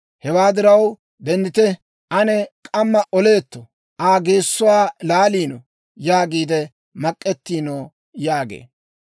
Hewaa diraw, denddite! ane k'amma oleetto; Aa geessuwaa laaleeddo› yaagiide mak'ettiino» yaagee.